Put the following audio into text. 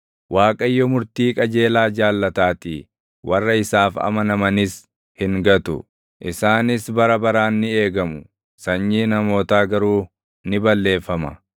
Waaqayyo murtii qajeelaa jaallataatii; warra isaaf amanamanis hin gatu. Isaanis bara baraan ni eegamu; sanyiin hamootaa garuu ni balleeffama.